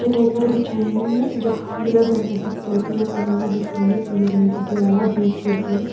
चटाई कर बिछाईं यख पीला घर का भीतर पीला कमरा का भीतर पिली कलर की दिवाला दुई खिड़कीन।